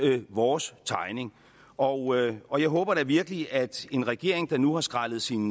vores tegning og og jeg håber da virkelig at en regering der nu har skrællet sin